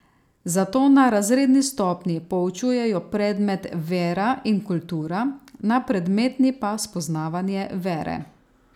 Zato na razredni stopnji poučujejo predmet vera in kultura, na predmetni pa spoznavanje vere.